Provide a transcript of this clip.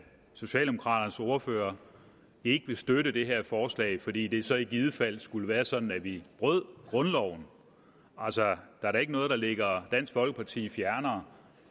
socialdemokraternes ordfører ikke vil støtte det her forslag fordi det så i givet fald skulle være sådan at vi bryder grundloven altså der er da ikke noget der ligger dansk folkeparti fjernere